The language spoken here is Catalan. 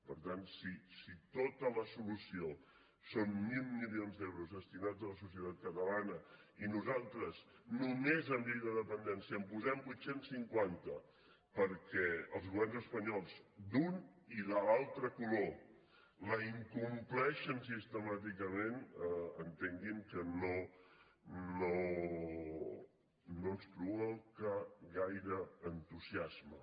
per tant si tota la solució són mil milions d’euros destinats a la societat catalana i nosaltres només en llei de dependència en posem vuit cents i cinquanta perquè els governs espanyols d’un i de l’altre color la incompleixen sistemàticament entenguin que no ens provoca gaire entusiasme